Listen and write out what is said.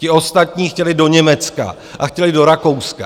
Ti ostatní chtěli do Německa a chtěli do Rakouska.